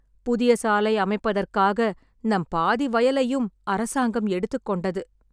புதிய சாலை அமைப்பதற்காக நம் பாதி வயலையும் அரசாங்கம் எடுத்துக்கொண்டது